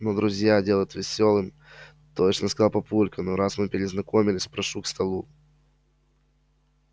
ну друзья делать весёлым точно сказал папулька раз мы перезнакомились прошу к столу